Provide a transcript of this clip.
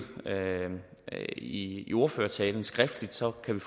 i ordførertalen skriftligt så kan vi